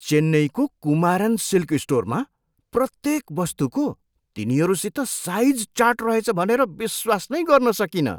चेन्नईको कुमारन सिल्क स्टोरमा प्रत्येक वस्तुको तिनीहरूसित साइज चार्ट रहेछ भनेर विश्वास नै गर्न सकिनँ।